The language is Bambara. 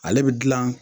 Ale bɛ dilan